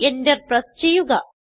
Enter press ചെയ്യുക